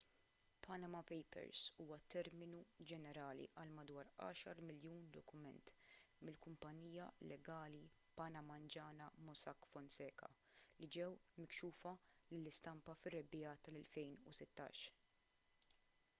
panama papers huwa terminu ġenerali għal madwar għaxar miljun dokument mill-kumpanija legali panamanjana mossack fonseca li ġew mikxufa lill-istampa fir-rebbiegħa tal-2016